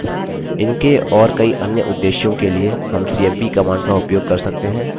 इनके और कई अन्य उद्देश्यों के लिए हम cmp command का उपयोग कर सकते हैं